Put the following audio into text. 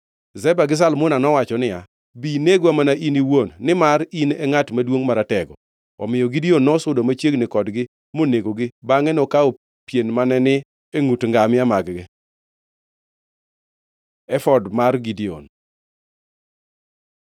Zeba gi Zalmuna nowacho niya, “Bi inegwa mana in iwuon nimar in e ngʼat maduongʼ maratego.” Omiyo Gideon nosudo machiegni kodgi monegogi, bangʼe nokawo pien mane ni e ngʼut ngamia mag-gi. Efod mar Gideon